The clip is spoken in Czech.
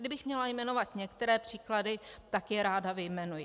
Kdybych měla jmenovat některé příklady, tak je ráda vyjmenuji.